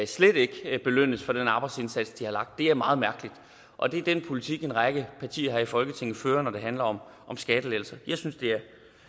slet ikke skal belønnes for den arbejdsindsats de har lagt er meget mærkeligt og det er den politik en række partier her i folketinget fører når det handler om skattelettelser jeg synes det er